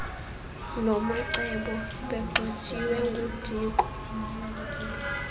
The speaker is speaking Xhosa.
nomacebo begxothiwe ngudiko